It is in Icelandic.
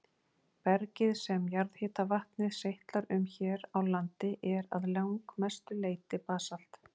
Bergið sem jarðhitavatnið seytlar um hér á landi er að langmestu leyti basalt.